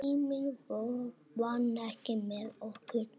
Tíminn vann ekki með okkur.